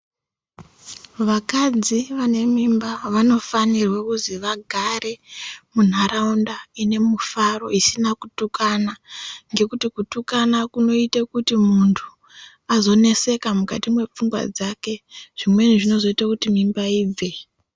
Vakadzi vane mimba vanofanirwe kuzi vagare munharaunda ine mufaro isina kutukana ngekuti kutukana kunoite kuti mundu azoneseka mukati mwepfungwa dzake zvimweni zvinozoita kuti mimba ibve.